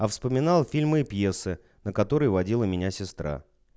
а вспоминал фильмы и пьесы на которые водила меня сестра